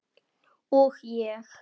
Og ég.